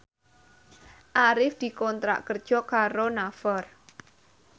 Arif dikontrak kerja karo Naver